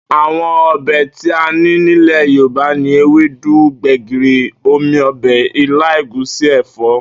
Àwo̩n o̩bè̩ tí a ní nílè̩ Yorùbá ni ewédú, gbè̩gìrì, omi o̩bè̩, ilá, ègúsí, è̩fó̩